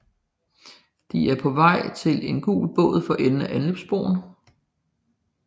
De er på vej til en gul båd for enden af anløbsbroen